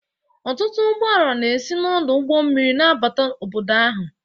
Ọtụtụ ụgbọ ala na-esi n'ọdụ ụgbọ mmiri na-abata obodo ahụ